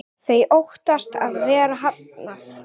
Þau óttast að vera hafnað.